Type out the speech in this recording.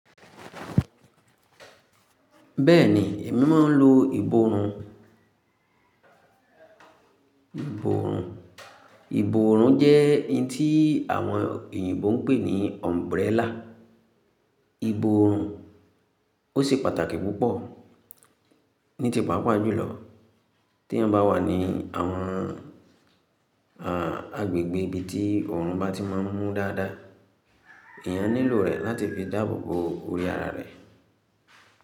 Bẹ́ẹ̀ni, èmi máa ń lo ìborùn. Ìborùn, ìborùn jẹ́ hin tí àwọn òyìnbó ń pè ní umbrella. Ìborùn, ó ṣe pàtàkì púpọ̀ ní tipápá jùlọ tí èèyàn bá wà ní àwọn, à, agbègbè ibi tí òòrùn bá ti máa ń mú dáadáa, èèyàn nílò rẹ̀ láti fi dáàbò bo orí ara rẹ̀.